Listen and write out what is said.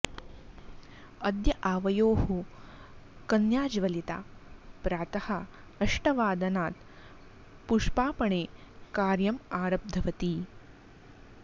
अद्य आवयोः कन्या ज्वलिता प्रातः अष्टवादनात् पुष्पापणे कार्यम् आरब्धवती